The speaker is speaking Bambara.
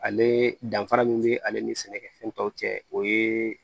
Ale danfara min bɛ ale ni sɛnɛkɛfɛn taw cɛ o ye